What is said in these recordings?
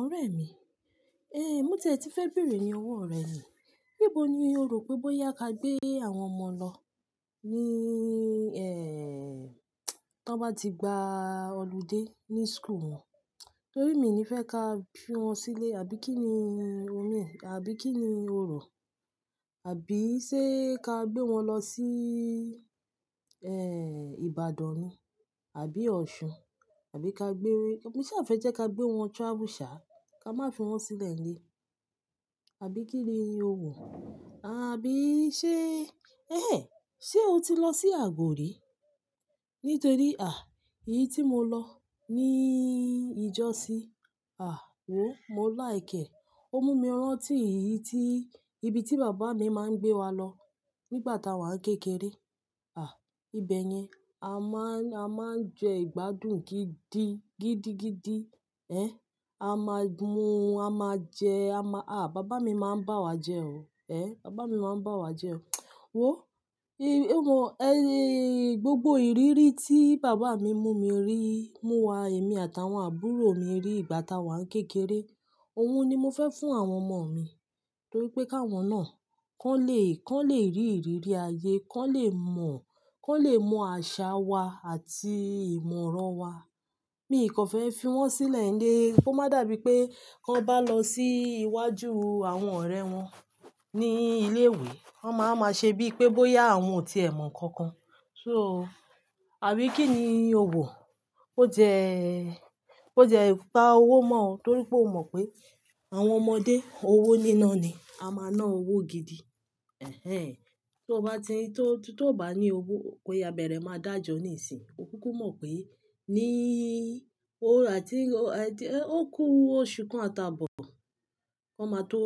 Ọ̀rẹ́ mi, eh, mú tẹ tí fẹ́ bèrè ni ọwọ́ rẹ ní. Níboni orò pé bóyá ka gbé àwọn ọmọ lọ ní, eh, tó bá ti gba ọludé ní school wọn? Nítorí mi ni fẹ́ ka fi wọn sílé àbí kíni omi ẹ̀, àbí kíni orò? Àbí sé ka gbé wọn lọ sí, eh, Ìbàdàn ni àbí Ọ̀ṣun, àbí ka gbé-- mi sì fẹ́ jẹ́ ka gbé wọn travel sha, ká má fi wọn sílẹ̀ nílé. Àbí kíni ni o wò? Àbí sé, ẹ́hẹ́n, ṣe o ti lọ sí Àgòrí? Nítorí, à, èyí tí mo lọ ní ìjọ́sí, à, wò, mo láìkẹ́. Ó mú mi rántí èyí tí-- ibi tí bàbá mi má ń gbé wa lọ nígbà táa wà ń kékeré. À, ibẹ̀ yẹn, a má ń, a má ń jẹ ìgbádùn gidi, gidigidi. Ẹ, a má mú, a má jẹ, a má-- à, bàbá mi má ń bá wa jẹ ọ. Ẹ, bàbá mi má ń bá wa jẹ ọ. Wò, ì, èwọ̀n, e iiiiiii. Gbogbo ìrírí tí bàbá mi mú mi rí, mú wa, èmi àtàwọn àbúrò mi rí ìgbà táa wà ń kékeré, òun ni mo fẹ́ fún àwọn ọmọ mi. Nítorí pé káwọn náà, kàn le, kàn le rí ìrírí ayé, kàn le mọ̀, kàn le mọ àṣà wa àti ìmọ̀ràn wa. Mi kan fẹ́ fi wọ́n silẹ̀ nle o. Ó má dàbí pé kàn bá lọ sí ii iwájú u àwọn oorẹ́ wọn ní i ilé ìwé, wọ́n máa a ma ṣe bí pé bóyá àwọn ò tí e mọ nǹkankan. So, àbí kíni o wò? Ó ti e, ó ti e pá owó mọ́ ọ, torí pé o mọ̀ pé àwọn ọmọdé owó níná ni. A máa ná owó gidi. Ẹ̀hẹ́n, tó bá n tin, tó, tó bá ní owó o, koya bẹ́rẹ́ máa dàjọ́ níìsín. O kúkú mọ̀ pé ní ii òru àti, ò ti, e, ó kú oṣù kan àti abọ̀, wọn máa tó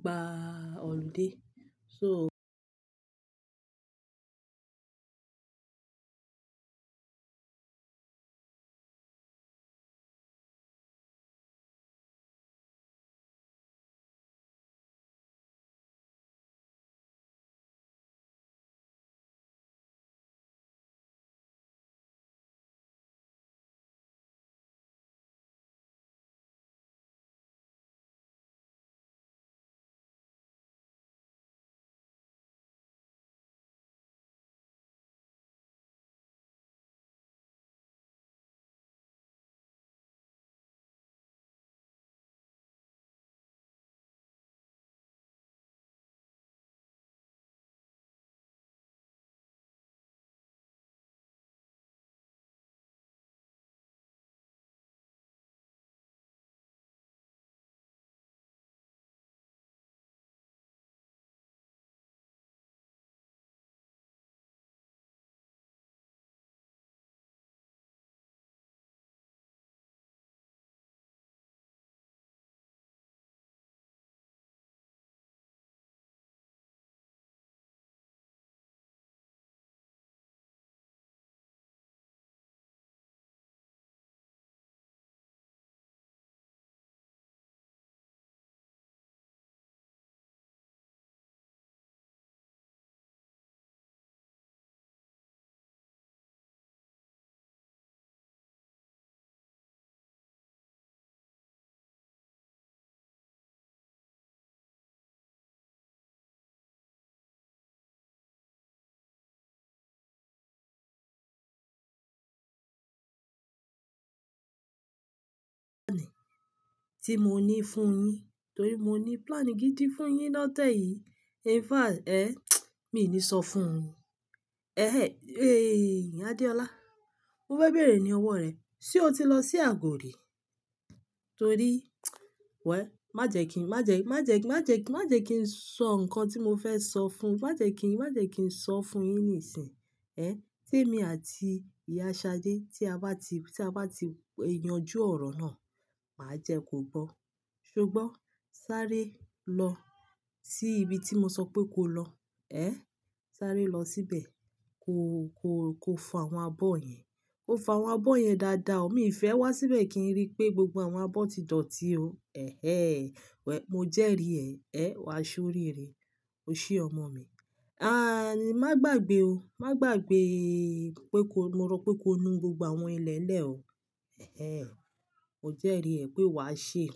gba ọludé. So- Ti mo ní fún yin, torí mo ní plani gidi fún yin lọ́tẹ yìí. In fact, ẹ́hn, mi ní sọ fún un. Ẹ̀hẹ́n, eh, Adeola, mo fẹ́ bèrè ni ọwọ́ rẹ, ṣe o ti lọ sí Àgòrí? Torí, wẹ́, májẹ̀ kí n, májẹ̀, májẹ̀ kí n, májẹ̀ kí n, májẹ̀ kí n sọ nǹkan tí mo fẹ́ sọ fún-- májẹ̀ kí n, májẹ̀ kí n sọ fún yin níìsín e. Ẹ, tí èmi àti ìyá Ṣadé tí a bá ti, tí a bá ti yanjú ọ̀rọ̀ náà, màá jẹ kò gbọ́. Ṣogbo sáré lọ sí ibi tí mo sọ pé ko lọ. Ẹhn, sáré lọ síbẹ̀. Ko, ko, ko fọ àwọn abọ́ yẹn. Ko fọ àwọn abọ́ yẹn dáadáa o. Òmi ìfẹ́ wá síbẹ̀ kí n rí pé gbogbo àwọn abọ́ ti dọ̀tí o. Ẹ̀hẹ́n, wẹ́, mo jẹ́rì ẹ́. Ẹ, wàá ṣórí rẹ. Ose ọmọ mi, a. An, má gbàgbé o. Má gbàgbé eee pé ko-- mo rọ pé ko nu gbogbo àwọn ilẹ̀lẹ̀ o. Ẹ̀hẹ́n, mo jẹ́rì ẹ́ pé wàá sè é.